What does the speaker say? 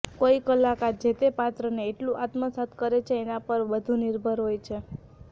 કોઈ કલાકાર જે તે પાત્રને કેટલું આત્મસાત કરે છે એના પર બધુ નિર્ભર હોય છે